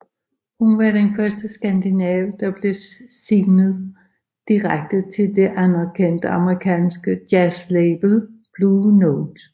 Hun var den første skandinav der blev signet direkte til det anerkendte amerikanske jazzlabel Blue Note